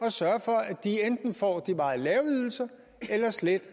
at sørge for at de enten får de meget lave ydelser eller slet